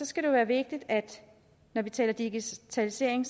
skal det være vigtigt at når vi taler digitalisering